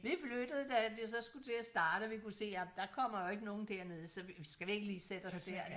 Vi flyttede da det så skulle til at starte og vi kunne se at der kommer jo ikke noget dernede så vi skal vi ikke lige sætte os derhen